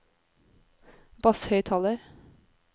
basshøyttaler